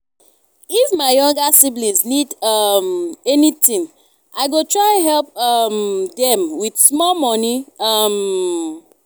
if my younger siblings need um anything i go try help um them with small money. um